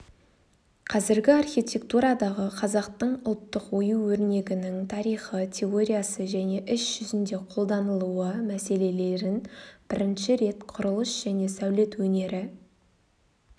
қазіргі архитектурадағы қазақтың ұлттық ою-өрнегінің тарихы теориясы және іс жүзінде қолданылуы мәселелерін бірінші рет құрылыс және сәулет өнері